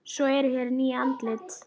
Svo eru hér ný andlit.